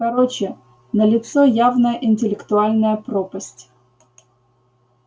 короче налицо явная интеллектуальная пропасть